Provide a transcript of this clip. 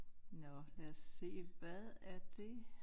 Nåh lad os se hvad er det?